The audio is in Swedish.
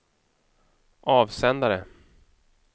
avsändare